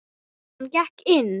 Hann gekk inn.